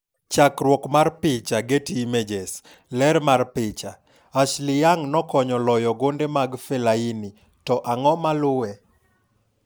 Chakruok mar picha, Getty Images. Ler mar picha, Ashley Young nokonyo loyo gonde mag Fellaini. To ang'o ma luwe?